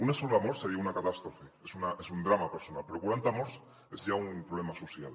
una sola mort seria una catàstrofe és un drama personal però quaranta morts és ja un problema social